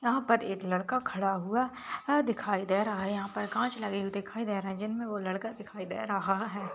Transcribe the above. यहाँ पर एक लड़का खड़ा हुआ दिखाई दे रहा है यहाँ पर काच लगे हुए दिखाई दे रहे है जिन मे वो लड़का दिखाई दे रहा है।